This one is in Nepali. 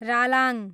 रालाङ